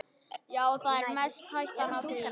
Já, það er mest hættan á því.